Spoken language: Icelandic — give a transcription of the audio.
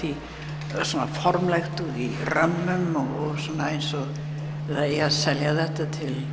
formlegt og í römmum eins og það eigi að selja þetta